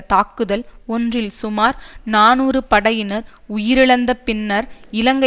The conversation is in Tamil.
தாக்குதல் ஒன்றில் சுமார் நாநூறு படையினர் உயிரிழந்த பின்னர் இலங்கை